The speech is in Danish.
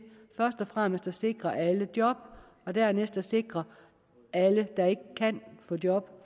først og fremmest at sikre alle job og dernæst at sikre alle der ikke kan få job